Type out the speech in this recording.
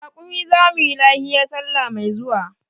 Da rakumi za mu yi lahiya salla mai zuwa.